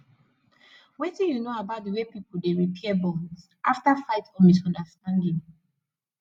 wetin you know about di way people dey repair bonds after fight or misunderstanding